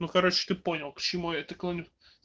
ну короче ты понял к чему это клоню